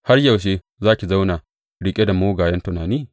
Har yaushe za ki zauna riƙe da mugayen tunani?